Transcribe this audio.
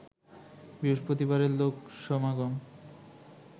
বৃহস্পতিবারের লোকসমাগম